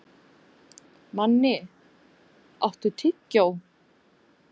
Manni, áttu tyggjó?